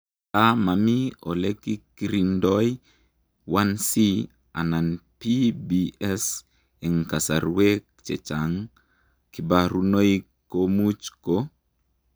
Ngaa mamii olekekirindoi Ic anan PBS ,eng kasarweek chechang kbarunoik komuch koo